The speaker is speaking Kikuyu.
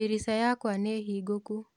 Dirica yakwa nĩ hingũku